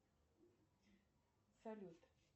салют